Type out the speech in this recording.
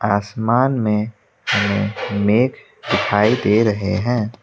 आसमान में हमें मेघ दिखाई दे रहे हैं।